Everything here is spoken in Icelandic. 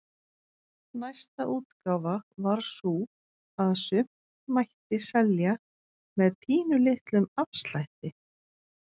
Næsta útgáfa var sú að sumt mætti selja með pínulitlum afslætti.